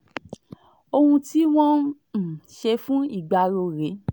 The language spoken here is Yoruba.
ohun tí wọ́n um ṣe fún ìgbárò rèé